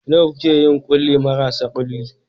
Nawa kuke yin ƙulli marasa kulli?